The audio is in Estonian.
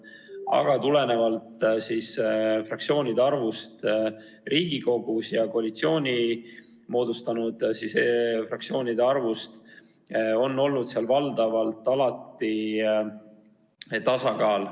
Aga tulenevalt fraktsioonide arvust Riigikogus ja koalitsiooni moodustanud fraktsioonide arvust on seal valdavalt alati olnud tasakaal.